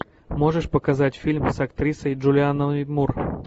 можешь показать фильм с актрисой джулианной мур